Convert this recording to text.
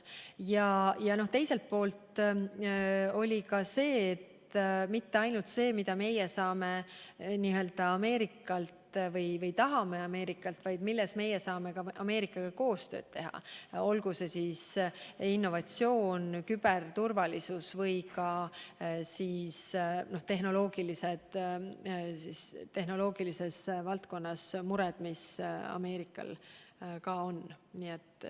Teiselt poolt ei olnud kõne all mitte ainult see, mida meie saame või tahame Ameerikalt, vaid ka see, milles meie saame Ameerikaga koostööd teha, olgu see innovatsioon, küberturvalisus või tehnoloogia valdkonnaga seotud mured, mis Ameerikal on.